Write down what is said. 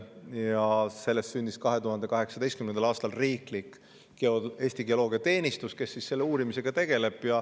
Ja sellest sündis 2018. aastal riiklik Eesti Geoloogiateenistus, kes selle uurimisega tegeleb.